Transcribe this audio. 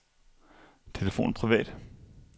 telefon privat